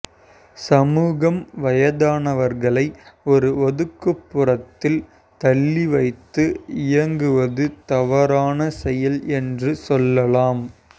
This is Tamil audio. சமூகம் வயதானவர்களை ஒரு ஒதுக்குப்புறத்தில் தள்ளி வைத்து இயங்குவது தவறான செயல் என்று சொல்லலாம்